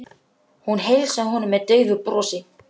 Hún heilsaði honum með daufu brosi.